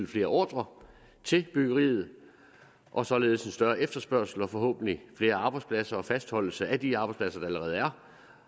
flere ordrer til byggeriet og således en større efterspørgsel og forhåbentlig flere arbejdspladser og fastholdelse af de arbejdspladser der allerede er